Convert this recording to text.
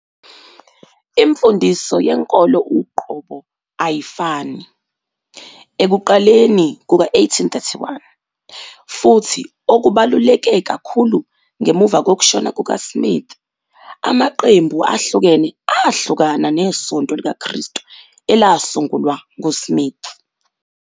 Imfundiso yenkolo uqobo ayifani, ekuqaleni kuka-1831, futhi okubaluleke kakhulu ngemuva kokushona kukaSmith, amaqembu ahlukene ahlukana neSonto likaKristu elasungulwa nguSmith.